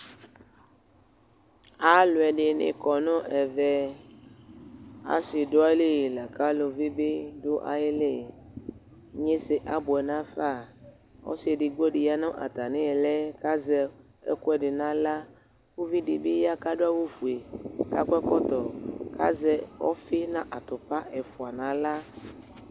ɑluedini kɔ nu ɛve ɑsiduayili laku aluvi biduayili inyese ɑbuenafɑ ɔsi ɛdigbo biya nu ɑtamiili kaze ɛkuedinahla uvidiya kɑduawufue kuakɔ ɛkɔto kɑye ɔfinatupa fua nahla